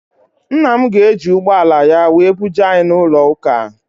Ńnà mụ ga- eji ụgbọala ya wee buje anyị n' ụlọ ụka.